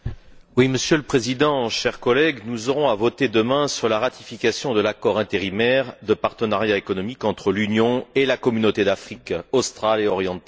Monsieur le Président, chers collègues, nous aurons à voter demain sur la ratification de l'accord intérimaire de partenariat économique entre l'Union et la Communauté d'Afrique australe et orientale.